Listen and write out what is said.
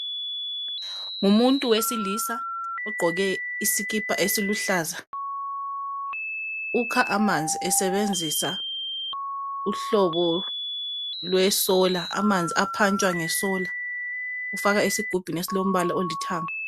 Ngumuntu wesilisa ogqoke isikipa esiluhlaza, ukha amanzi esebenzisa uhlobo lwe 'solar', amanzi aphantshwa nge'solar' ufaka esigubhini esilombala olithanga.